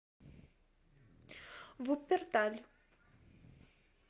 вупперталь